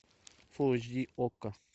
фул эйч ди окко